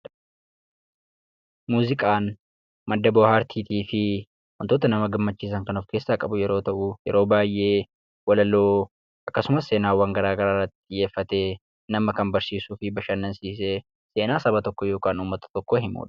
Muuziqaan madda bohaartiitii fi wantoota nama gammachiisan kan of-keessaa qabu yeroo ta'u, yeroo baay'ee walaloo akkasumas seenaawwan garaa garaa irratti xiyyeeffatee nama kan barsiisuu fi bashannansiisee, seenaa saba tokkoo yookaan uummata tokkoo himudha.